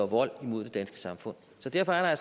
vold mod det danske samfund så derfor er der